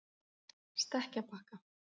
Stekkjarbakka